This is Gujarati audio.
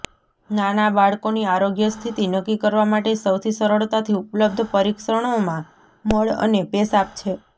નાના બાળકોની આરોગ્ય સ્થિતિ નક્કી કરવા માટે સૌથી સરળતાથી ઉપલબ્ધ પરીક્ષણોમાં મળ અને પેશાબ છે